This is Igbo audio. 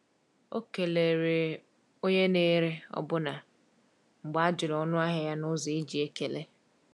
O kelere onye na-ere ọbụna mgbe a jụrụ ọnụahịa ya n’ụzọ e ji ekele.